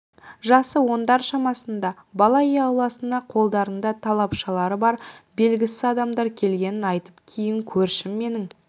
жасы ондар шамасындағы бала үй ауласына қолдарында тапаншалары бар белгісіз адамдар келгенін айтты кейін көршім менің